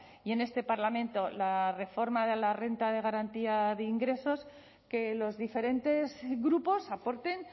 y en este parlamento la reforma de la renta de garantía de ingresos que los diferentes grupos aporten